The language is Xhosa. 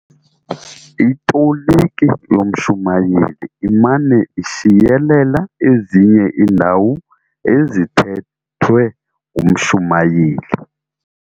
Itoliki yomshumayeli imana ishiyelela ezinye iinndawo ezithethwe ngumshumayeli.